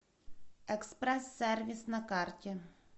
экспресс сервис на карте